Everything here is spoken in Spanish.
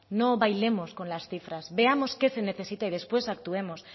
no bailemos con las cifras veamos qué se necesita y después actuemos